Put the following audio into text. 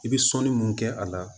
I bɛ sɔnni mun kɛ a la